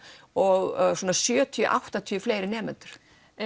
og sjötíu til áttatíu fleiri nemendur